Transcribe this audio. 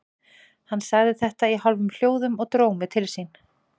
Hann sagði þetta í hálfum hljóðum og dró mig til sín.